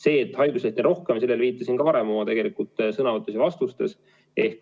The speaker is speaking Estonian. Sellele, et haiguslehti on rohkem, ma viitasin oma sõnavõtus ja vastustes.